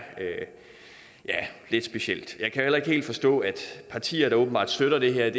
lidt specielt jeg kan heller ikke helt forstå at partier der åbenbart støtter det her